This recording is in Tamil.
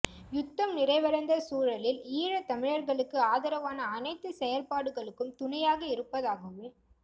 யுத்தம் நிறைவடைந்த சூழலில் ஈழத்தமிழர்களுக்கு ஆதரவான அனைத்துச் செயற்பாடுகளுக்கும் துணையாக இருப்பதாகவும்